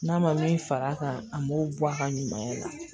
N'a ma min fara a kan a m'o bɔ a ka ɲumanya la